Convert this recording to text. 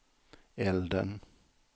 elden